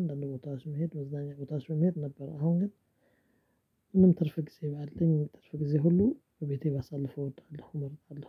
አንዳንድ ቦታዎች መሄድ መዝናኛ ቦታዎች መሄድ ነበር። አሁን ግን ምንም ትርፍ ጊዜ ባልኝ ትርፍ ጊዜ ሁሉ ቤቴ ባሳልፈው እወዳለሁ እመርጣለሁ